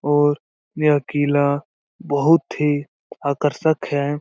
और यह किला बहुत ही आकर्षक है।